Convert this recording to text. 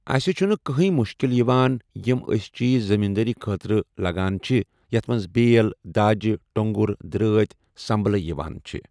اسہِ چھُنہٕ کٕہٲنۍ مُشکلات یِوان یِم اسہِ چیٖز زمیٖندٲری خٲطرٕ لگان چھِ یتھ منٛز بیل، داجہِ۔ ٹۄنٛگر، درٛٲتۍ، سمبلہٕ یِوان چھِ ۔